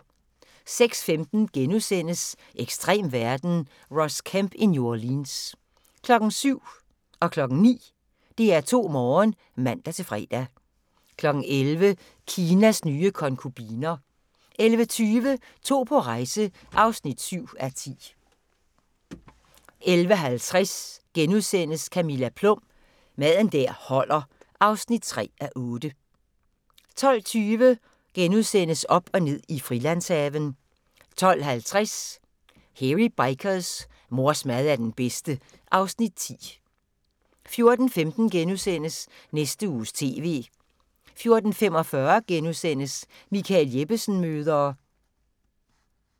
06:15: Ekstrem verden – Ross Kemp i New Orleans * 07:00: DR2 Morgen (man-fre) 09:00: DR2 Morgen (man-fre) 11:00: Kinas nye konkubiner 11:20: To på rejse (7:10) 11:50: Camilla Plum – Mad der holder (3:8)* 12:20: Op og ned i Frilandshaven * 12:50: Hairy Bikers: Mors mad er den bedste (Afs. 10) 14:15: Næste Uges TV * 14:45: Michael Jeppesen møder ...*